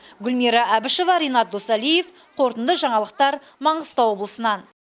гүлмира әбішева ренат досалиев қорытынды жаңалықтар маңғыстау облысынан